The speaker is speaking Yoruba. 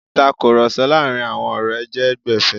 Ìtakurọ̀sọ láàrin àwọn ọ̀rẹ́ jẹ́ gbẹ̀fé.